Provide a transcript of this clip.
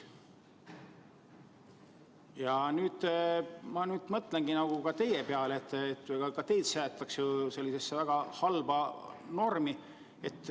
Ja nüüd ma mõtlengi teie peale, sest ka teid jäetakse sellisesse väga halba seisu.